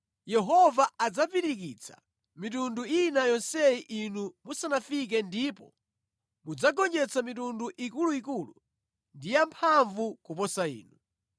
Yehova adzapirikitsa mitundu ina yonseyi inu musanafike ndipo mudzagonjetsa mitundu ikuluikulu ndi yamphamvu kuposa inu.